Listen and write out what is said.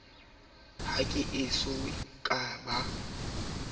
ha ke eso ka ba